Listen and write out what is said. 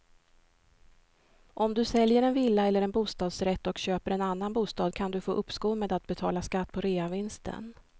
Om du säljer en villa eller bostadsrätt och köper en annan bostad kan du få uppskov med att betala skatt på reavinsten.